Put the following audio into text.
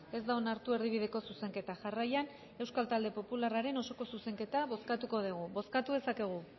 ez da onartu erdibideko zuzenketa jarraian euskal talde popularraren osoko zuzenketa bozkatuko dugu bozkatu dezakegu